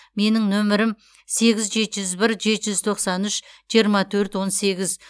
менің нөмірім сегіз жеті жүз бір жеті жүз тоқсан үш жиырма төрт он сегіз